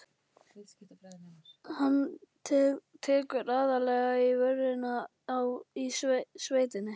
Hann tekur aðallega í vörina í sveitinni.